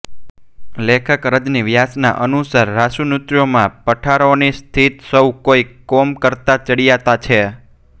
લેખક રજની વ્યાસના અનુસાર રાસનૃત્યોમાં પઢારોની શિસ્ત સૌ કોઈ કોમો કરતાં ચડિયાતી છે